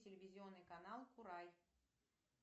телевизионный канал курай